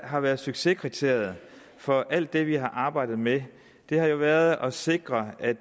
har været succeskriteriet for alt det vi har arbejdet med har jo været at sikre at